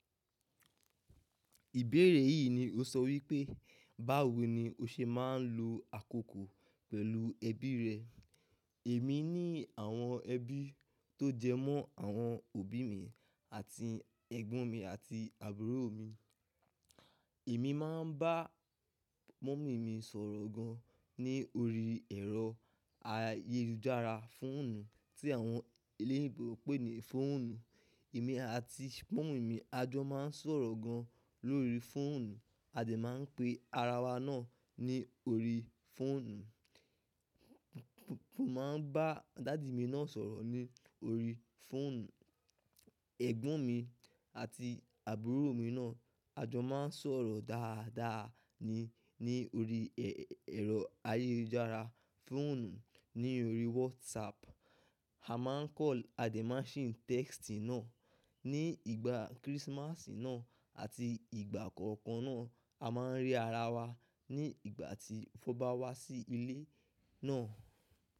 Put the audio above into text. Ìbéèrè yìí ni ó sọ wípé, báwo ni o ṣe máa ń lo àkókò pẹ̀lú ẹbí rẹ? Èmi ní àwọn ẹbí tó jẹmọ́ àwọn òbí mi àti ẹ̀gbọ́n mi àti àbúrò mi. Èmi máa ń bá mọ́mì mi sọ̀rọ̀ gan ní orí ẹ̀rọ ayélujára fóònù tí àwọn eléyinbó pè ní fóònù. Èmi àti mọ́mì mi a jọ máa ń sọ̀rọ̀ gan lórí fóònù, Adé máa ń pe ara wa náà ní orí fóònù. Mo máa ń bá dàdi mi náà sọ̀rọ̀ ní orí fóònù. Ẹ̀gbọ́n mi àti àbúrò mi náà a jọ máa ń sọ̀rọ̀ dáadáa ní orí ẹ̀rọ ayélujára fóònù, ní orí WhatsApp. A máa ń call, Adé máa ń sí text náà. Ni ìgbà Kérésìmasì náà àti ìgbà kankan náà, a máa ń rí ara wa ní ìgbà tí ó bá wá sí ilé náà.